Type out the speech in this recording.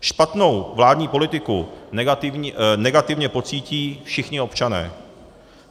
Špatnou vládní politiku negativně pocítí všichni občané.